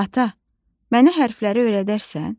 Ata, mənə hərfləri öyrədərsən?